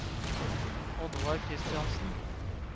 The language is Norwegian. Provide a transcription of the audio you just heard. Oddvar Kristiansen